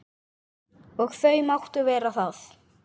Og þau máttu vera það.